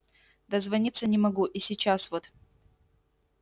дозвониться не могу и сейчас вот